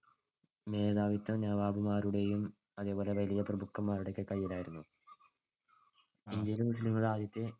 മേധാവിത്വം നവാബുമാരുടെയും അതേപോലെ വലിയ പ്രഭുക്കന്മാരുടെയും ഒക്കെ കൈയിലായിരുന്നു. ഇന്ത്യയിലെ മുസ്ലീം ആദ്യത്തെ